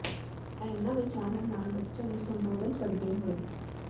ਇੰਨਾਂ ਵਿਚਾਰਾਂ ਨਾਲ ਬੱਚਿਆ ਨੂੰ ਸੰਬੋਧਨ ਕਰਦੇ ਹੋਏ ਡਾ